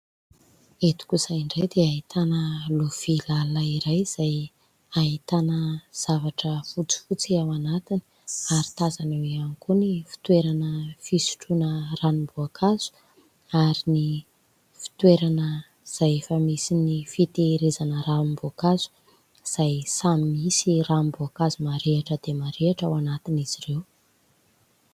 Eto kosa indray dia ahitana lovia lalina iray izay ahitana zavatra fotsifotsy ao anatiny ary tazana eo ihany koa ny fitoerana fisotroana ranom-boankazo ary ny fitoerana izay efa misy ny fitehirizana ranom-boankazo, izay samy misy ranom-boankazo marihatra dia marihatra ao anatin'izy ireo.